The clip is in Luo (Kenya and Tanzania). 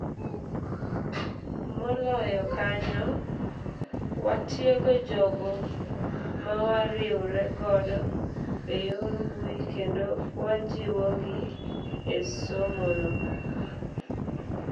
Moloyo kanyo, watiego jogo mawariwre godo eyor mbui kendo wajiwo gi esomono.